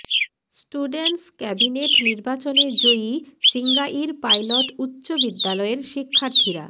students cabinet নির্বাচনে জয়ী Singair pilot উচ্চ বিদ্যালয়ের শিক্ষার্থীরা